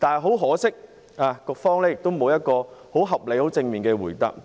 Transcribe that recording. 很可惜，局長沒有提供一個合理、正面的答覆。